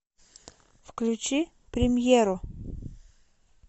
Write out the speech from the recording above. включи премьеру